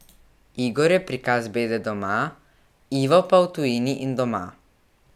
Igor je prikaz bede doma, Ivo pa v tujini in doma.